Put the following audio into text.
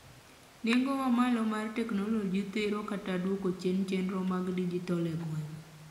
nengo mamalo mar teknoloji thiro kata duoko chien chienro mag digital e gwenge